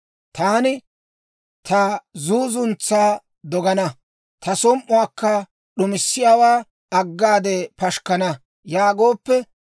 Taani, ‹Ta zuuzuntsaa dogana; ta som"uwaakka d'umissiyaawaa aggade pashikkana› yaagooppe,